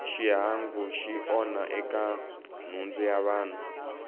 xihangu xi onha eka nhundzu ya vanhu